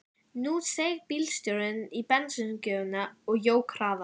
Nú steig bílstjórinn á bensíngjöfina og jók hraðann.